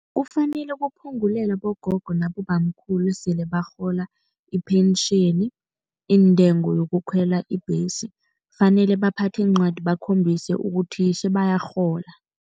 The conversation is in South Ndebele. Kufanele kuphungulelwe abogogo nabobamkhulu esele barhola ipentjheni iintengo yokukhwela ibhesi. Kufanele baphathe iincwadi bakhombise ukuthi sebayarhola.